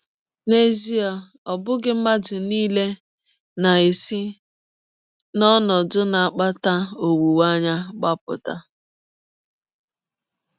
N’ezie, ọ bụghị mmadụ nile na - esi n’ọnọdụ na - akpata ọnwụnwa agbapụ.